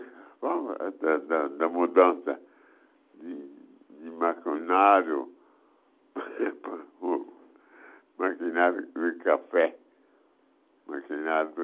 da da da mudança de maquinário, maquinário de café, maquinário